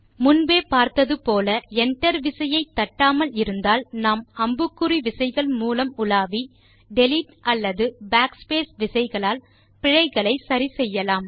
முன்பே பார்த்தது போல enter விசையை தட்டாமல் இருந்தால் நாம் அம்புகுறி விசைகள் மூலம் உலாவி டிலீட் அல்லது backspace விசைகளால் பிழைகளை சரி செய்யலாம்